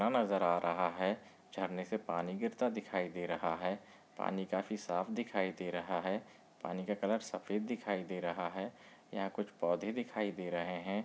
नजर आ रहा है झरने से पानी गिरता दिखाई दे रहा है पानी काफी साफ दिखाई दे रहा है पानी का कलर सफ़ेद दिखाई दे रहा है यहा कुछ पौधे दिखाई दे रहे है।